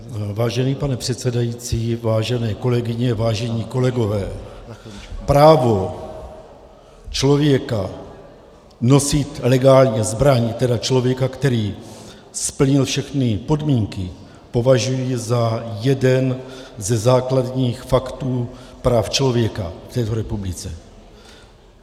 Vážený pane předsedající, vážené kolegyně, vážení kolegové, právo člověka nosit legálně zbraň, tedy člověka, který splnil všechny podmínky, považuji za jeden ze základních faktů práv člověka v této republice.